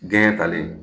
Gɛn talen